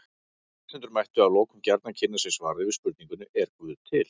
Lesendur mættu að lokum gjarnan kynna sér svarið við spurningunni Er guð til?